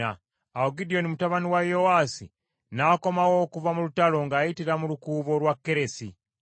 Awo Gidyoni mutabani wa Yowaasi n’akomawo okuva mu lutalo ng’ayitira mu Lukuubo lwa Keresi.